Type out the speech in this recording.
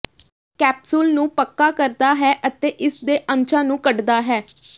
capsule ਨੂੰ ਪੱਕਾ ਕਰਦਾ ਹੈ ਅਤੇ ਇਸਦੇ ਅੰਸ਼ਾਂ ਨੂੰ ਕੱਢਦਾ ਹੈ